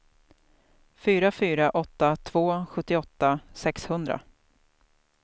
fyra fyra åtta två sjuttioåtta sexhundra